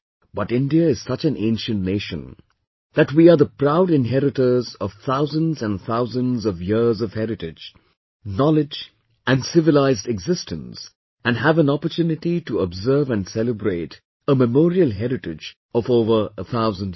But India is such an ancient Nation that we are the proud inheritors of thousands and thousands of years of heritage, knowledge and civilized existence and have an opportunity to observe and celebrate a memorial heritage of over thousand years